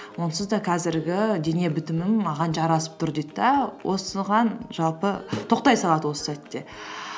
онсыз да қазіргі дене бітімім маған жарасып тұр дейді де осыған жалпы тоқтай салады осы сәтте